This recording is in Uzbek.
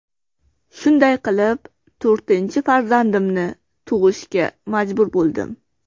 Shunday qilib to‘rtinchi farzandimni tug‘ishga majbur bo‘ldim.